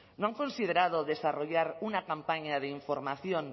no han considerado desarrollar una campaña de información